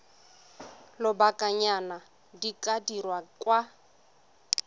lobakanyana di ka dirwa kwa